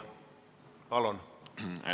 Palun!